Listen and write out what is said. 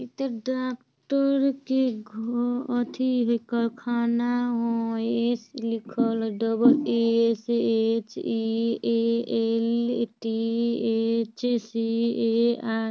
इ ता डॉक्टर के घ-एथि कारखाना होय | एस लिखल होय double S H E A L T H C A R |